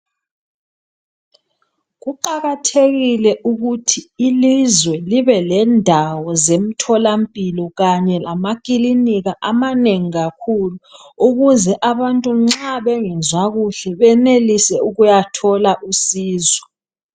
kuqakathekile ukuthi ilizwe libelendawo zemtholampilo kanye lamakilinika amanengi kakhulu ukuze abantu nxa bengezwa kuhlebenelise ukuyathola usizo